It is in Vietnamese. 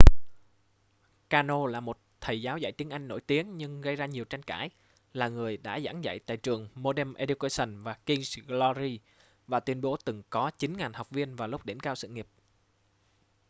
karno là một thầy giáo dạy tiếng anh nổi tiếng nhưng gây ra nhiều tranh cãi là người đã giảng dạy tại trường modern education và king's glory và tuyên bố từng có 9.000 học viên vào lúc đỉnh cao sự nghiệp